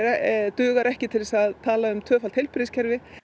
dugar ekki til þess að tala um tvöfalt heilbrigðiskerfi